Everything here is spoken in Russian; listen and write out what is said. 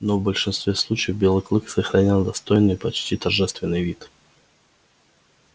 но в большинстве случаев белый клык сохранял достойный и почти торжественный вид